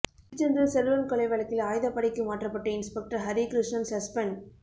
திருச்செந்தூர் செல்வன் கொலை வழக்கில் ஆயுதப்படைக்கு மாற்றப்பட்ட இன்ஸ்பெக்டர் ஹரிகிருஷ்ணன் சஸ்பெண்ட்